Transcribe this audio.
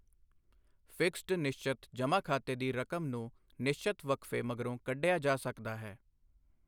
Fixed ਨਿਸ਼ਚਤ ਜਮ੍ਹਾਂ ਖਾਤੇ ਦੀ ਰਕਮ ਨੂੰ ਨਿਸ਼ਚਤ ਵਕਫੇ ਮਗਰੋਂ ਕੱਢਿਆ ਜਾ ਸਕਦਾ ਹੈ।